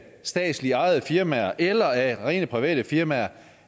statsligt ejede firmaer eller af rene private firmaer